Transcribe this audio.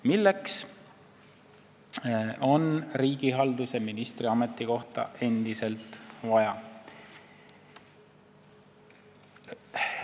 Milleks on riigihalduse ministri ametikohta endiselt vaja?